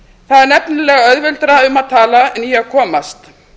það er nefnilega auðveldara um að tala en í að komast